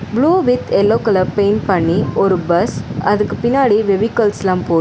Blue with yellow colour paint பண்ணி ஒரு bus அதுக்கு பின்னாடி வெவிகள்ஸ்லாம் போவ்து.